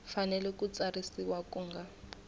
fanele ku tsarisiwa ku nga